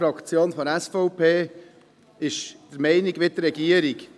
Die Fraktion der SVP ist derselben Meinung wie die Regierung.